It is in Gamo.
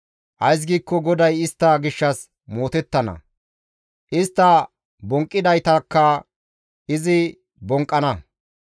Ays giikko GODAY istta gishshas mootettana; istta bonqqidaytakka izi bonqqana.